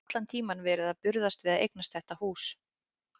Og allan tímann verið að burðast við að eignast þetta hús.